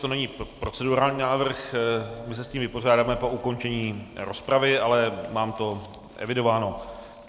To není procedurální návrh, my se s tím vypořádáme po ukončení rozpravy, ale mám to evidováno.